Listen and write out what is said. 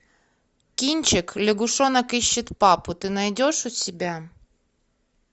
кинчик лягушонок ищет папу ты найдешь у себя